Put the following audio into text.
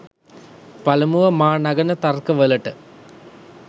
පළමුව මා නගන ලද තර්ක වලට